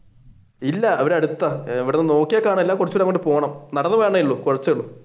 ഇല്ല ഇവിടെ അടുത്താണ് ഇവിടെ നിന്ന് നോക്കിയാൽ കാണൂല കുറച്ചു അങ്ങാട്ട് പോണം നടന്നു പോകാനെയുള്ളൂ കുറച്ചേ ഉള്ളു.